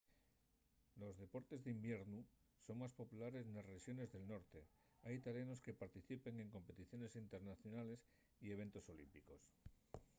los deportes d’iviernu son más populares nes rexones del norte hai italianos que participen en competiciones internacionales y eventos olímpicos